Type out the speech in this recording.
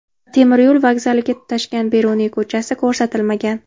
Temiryo‘l vokzaliga tutashgan Beruniy ko‘chasi ko‘rsatilmagan.